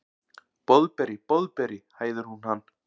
Boðberi, Boðberi, hæðir hún hann.